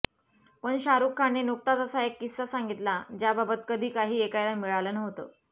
पण शाहरूख खानने नुकताच असा एक किस्सा सांगितला ज्याबाबत कधी काही ऐकायला मिळालं नव्हतं